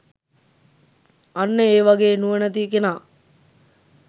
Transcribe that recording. අන්න ඒ වගේ නුවණැති කෙනා